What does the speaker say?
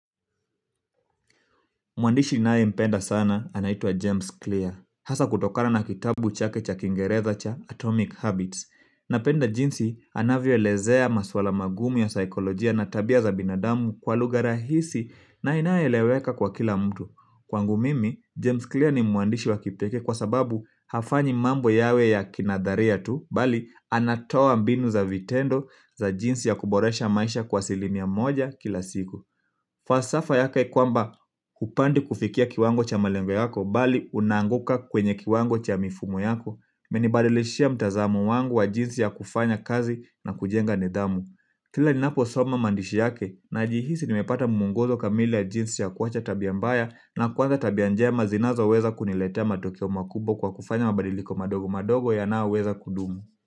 Mwandishi ninaempenda sana anaitwa James Clear. Hasa kutokana na kitabu chake cha Kiingereza cha Atomic Habits. Napenda jinsi anavyoelezea maswala magumu ya saikolojia na tabia za binadamu kwa lugha rahisi na inayoeleweka kwa kila mtu kwangu mimi, James Clear ni mwandishi wa kipekee kwa sababu hafanyi mambo yawe ya kina dharia tu. Bali anatoa mbinu za vitendo za jinsi ya kuboresha maisha kwa asilimia moja kila siku. Fasafa yaka ikuamba hupandi kufikia kiwango cha malengo yako bali unaanguka kwenye kiwango cha mifumo yako. Imenibadilishia mtazamo wangu wa jinsi ya kufanya kazi na kujenga nidhamu kila ninaposoma maandishi yake najihisi nimepata muongozo kamili ya jinsi ya kuwacha tabia mbaya na kuanza tabia njema zinazoweza kuniletea matokeo makubwa kwa kufanya mabadiliko madogo madogo yanayoweza kudumu.